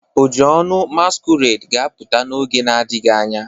Ojionu masquerade ga-apụta n'oge adịghị anya